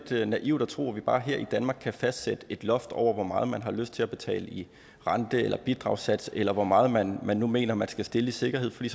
naivt at tro at vi bare her i danmark kan fastsætte et loft over hvor meget man har lyst til at betale i rente eller i bidragssats eller hvor meget man man nu mener man skal stille i sikkerhed fordi